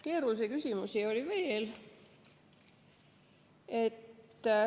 Keerulisi küsimusi oli veel.